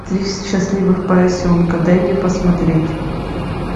три счастливых поросенка дай мне посмотреть